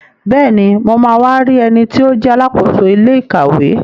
Bẹ́ẹ̀ni, mo ma wá rí ẹniti ó jẹ́ Alákóso ilé ìkàwé